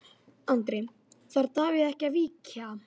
Andri: Þarf Davíð ekki að víkja?